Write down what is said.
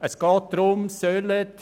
Es geht um Folgendes: